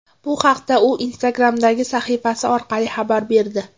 Bu haqda u Instagram’dagi sahifasi orqali xabar berdi .